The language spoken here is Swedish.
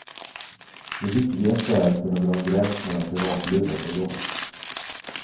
Det viktigaste är att kunna dra en gräns mellan privatlivet och jobbet.